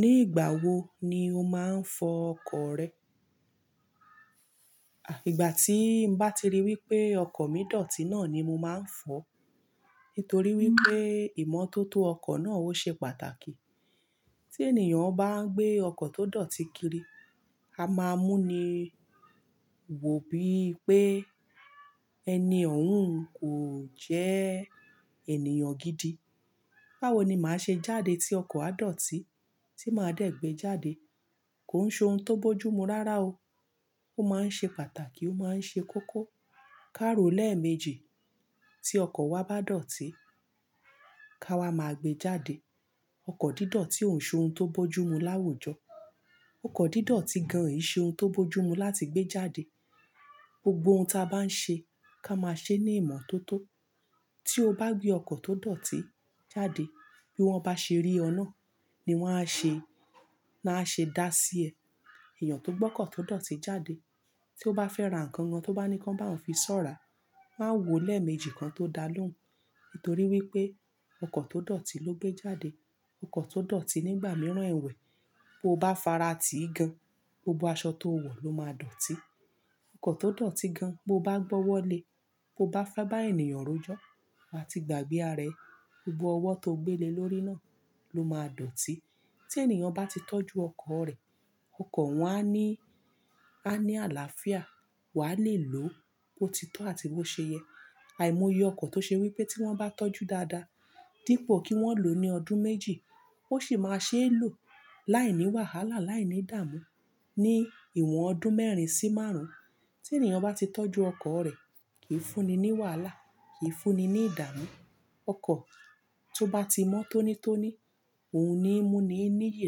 Ní ìgbà wo ni o máa ń fọ ọkọ̀ rẹ? Àì, ìgbà tíì bá ti rí wípé ọkọ̀ mi dọ̀tí náà ni mo máa ń fọ, nítorí wípé ìmọ́tótó ọkọ̀ náà ó ṣe pàtàkì. Tí ènìyàn bá ń gbé ọkọ̀ tó dọ̀tí kiri, a máa mú ni wò bíi pé ẹni òun kò jẹ́ ènìyàn gidi. Báwo ni màá ṣe jáde tí ọkọ̀ á dọ̀tí tí màá dẹ̀ gbé jáde? Kò ń ṣe ohun tó bójú mu rárá o. Ó máa ń ṣe pàtàkì, ó máa ń ṣe koko. Ká ro lẹ́ẹ̀méjì tí ọkọ̀ wa bá dọ̀tí ká wá máa gbé jáde. Ọkọ̀ dídọ̀tí ò ń ṣe ohun tó bójú mu láwùjọ. Ọkọ̀ dídọ̀tí gan-an ò ṣe ohun tó bójú mu láti gbé jáde. Gbogbo ohun ta bá ń ṣe ká máa ṣe ní ìmọ́tótó. Tí o bá gbé ọkọ̀ tó dọ̀tí jáde, bí wọ́n bá ṣe rí ọ náà ni wọ́n á ṣe, náá ṣe dá sí ẹ. Èèyàn tó gbọ́kọ̀ tó dọ̀tí jáde tí ó bá fẹ́ ra nǹkan kan tó bá ní ká bá òun fi ṣọ́ra, máa ń wo lẹ́ẹ̀méjì kan tó dá lóhùn. Nítorí wípé ọkọ̀ tó dọ̀tí ló gbé jáde. Ọkọ̀ tó dọ̀tí nígbà mìíràn ẹ̀wẹ̀, bó bá fara tèé gan, gbogbo aṣọ tó o wọ̀ ló máa dọ̀tí. Ọkọ̀ tó dọ̀tí gan, bó bá gbọ́wọ́lẹ́, bó bá fẹ́ bá ènìyàn rojọ́ àti gbàgbé arẹ, gbogbo ọwọ́ tó o gbé le lórí náà ló máa dọ̀tí. Tí ènìyàn bá ti tọ́jú ọkọ̀ rẹ̀, ọkọ̀ wọn á ní, á ní àlàáfíà, wàá le è lò ó bó ti tó àti bó ṣe yẹ. Àìmọye ọkọ̀ tó ṣe wípé tí wọ́n bá tọ́jú dáadáa dípò kí wọ́n lò ó ní ọdún méjì, ó sì máa ṣe é lò láìní wàhálà, láìní ìdààmú ní ìwọ̀n ọdún mẹ́rin sí márùn-ún. Tí ènìyàn bá ti tọ́jú ọkọ̀ rẹ̀, kì í fúnni ní wàhálà, kì í fúnni ní ìdààmú. Ọkọ̀ tó bá ti mọ́tónítóní, òun ni mú ni níyì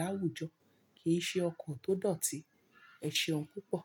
láwùjọ, kì í ṣe ọkọ̀ tó dọ̀tí. Ẹ ṣe oún pupó.